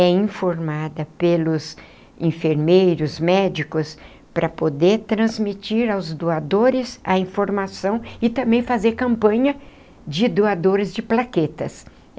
é informada pelos enfermeiros, médicos, para poder transmitir aos doadores a informação e também fazer campanha de doadores de plaquetas.